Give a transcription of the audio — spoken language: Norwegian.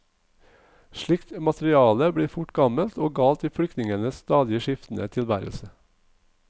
Slikt materiale blir fort gammelt og galt i flyktningenes stadig skiftende tilværelse.